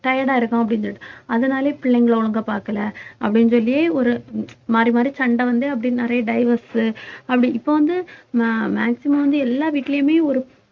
tired ஆ இருக்கும் அப்படின்னு சொல்லிட்டு அதனாலேயே பிள்ளைங்களை ஒழுங்கா பார்க்கல அப்படின்னு சொல்லி ஒரு மாறி மாறி சண்டை வந்து அப்படியே நிறைய divorce உ அப்படி இப்ப வந்து ma~ maximum வந்து எல்லா வீட்டுலையுமே ஒரு